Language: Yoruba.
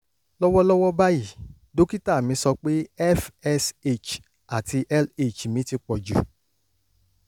lọ́wọ́lọ́wọ́ báyìí dókítà mi sọ pé fsh àti lh mi ti pọ̀ jù